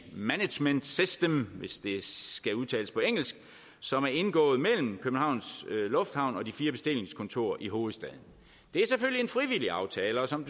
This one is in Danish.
management system hvis det skal udtales på engelsk som er indgået mellem københavns lufthavn og de fire bestillingskontorer i hovedstaden det er selvfølgelig en frivillig aftale og som